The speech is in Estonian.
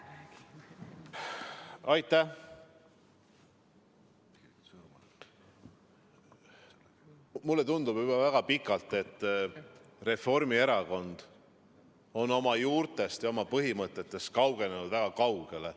Mulle tundub juba väga ammu, et Reformierakond on oma juurtest ja põhimõtetest kaugenenud väga kaugele.